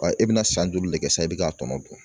E bɛna san joli le kɛ sa i bɛ k'a tɔmɔ